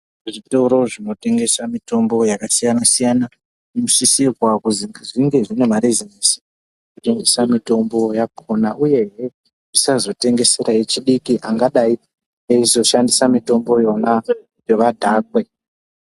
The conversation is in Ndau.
Zvitoro zvinotengese mitombo yakasiyana siyana zvinosisirwa kuti zvive zvine marizoni ekutengese mitombo yakona uyehee zvisazotengesere vechidiki angadai eizoshandise mitombo yona kuti vadhakwe.